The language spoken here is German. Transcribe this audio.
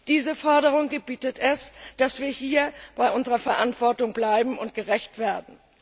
Diese Forderung gebietet es, dass wir hier bei unserer Verantwortung bleiben und ihr gerecht werden.